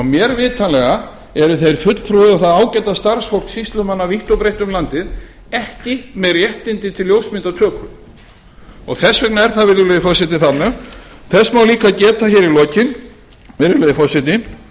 mér vitanlega eru þeir fulltrúar og það ágæta starfsfólk sýslumanna vítt og breitt um landið ekki með réttindi til ljósmyndatöku þess vegna er það virðulegi forseti þarna þess má líka geta hér í lokin virðulegi forseti